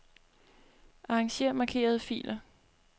Arranger markerede filer.